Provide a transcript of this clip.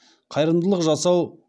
қайырымдылық жасау